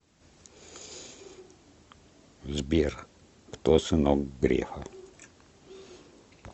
сбер кто сынок грефа